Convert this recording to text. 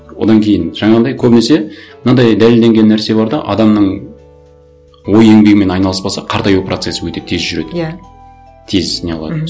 одан кейін жаңағындай көбінесе мынандай дәлелденген нәрсе бар да адамның ой еңбегімен айналыспаса қартаю процесі өте тез жүреді иә тез не қылады мхм